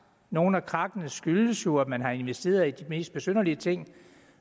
nogle af krakkene skyldes jo at man har investeret i de mest besynderlige ting